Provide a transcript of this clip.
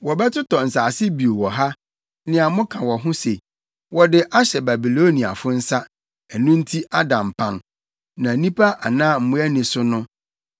Wɔbɛtotɔ nsase bio wɔ ha, nea moka wɔ ho se, ‘Wɔde ahyɛ Babiloniafo nsa, ɛno nti ada mpan, na nnipa anaa mmoa nni so no.’